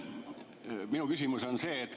Minu küsimus on see.